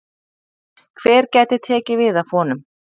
Hver gæti tekið við af honum?